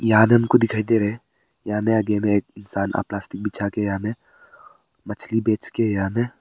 को दिखाई दे रहे हैं यहां में आगे में एक इंसान प्लास्टिक बिछा के यहां में मछली बेच के यहां में--